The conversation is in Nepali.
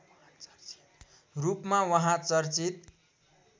रूपमा उहाँ चर्चित